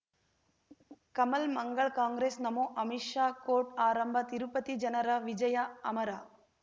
ಕಮಲ್ ಮಂಗಳ್ ಕಾಂಗ್ರೆಸ್ ನಮಃ ಅಮಿಷ್ ಕೋರ್ಟ್ ಆರಂಭ ತಿರುಪತಿ ಜನರ ವಿಜಯ ಅಮರ